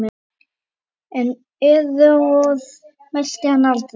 En æðruorð mælti hann aldrei.